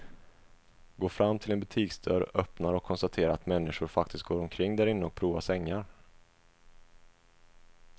Går fram till en butiksdörr, öppnar och konstaterar att människor faktiskt går omkring därinne och provar sängar.